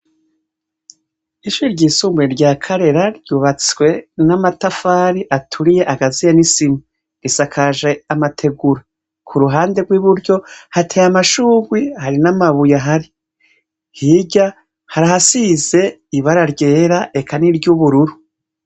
Ishure ry'isumbuye Rya Karera ryubatswe n'amatafari aturiye agaziye n'isima. Risakaje amategura. kuruhande rw'iburyo, hateye amashurwi hari n'amabuye ahari. hirya harahasize ibara ryera, eka ni ry'ubururu.